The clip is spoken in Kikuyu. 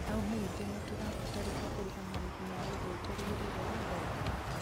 no ũmenyithie nĩ rĩ tũgafatarĩka kũrĩha marĩhi ma ũndũ ũterĩgĩrĩirwo wa ngari